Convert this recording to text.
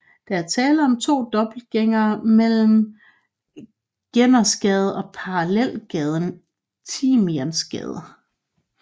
Der er tale om to dobbeltlænger mellem Gernersgade og parallelgaden Timiansgade